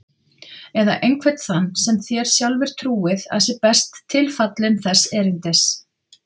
Eða einhvern þann sem þér sjálfir trúið að sé best tilfallinn þess erindis.